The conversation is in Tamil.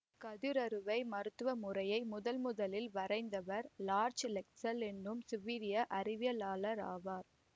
கதிரறுவை மருத்துவ முறையை முதன் முதலில் வரையறுத்தவர் லார்சு லெக்சல் எனும் சுவீடிய அறிவியலாளர் ஆவார்